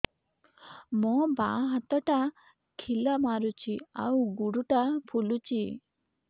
ମୋ ବାଆଁ ହାତଟା ଖିଲା ମାରୁଚି ଆଉ ଗୁଡ଼ ଟା ଫୁଲୁଚି